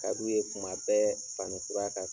ka d'u ye kuma bɛɛ fani kura ka